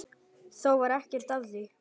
Þó varð ekkert af því.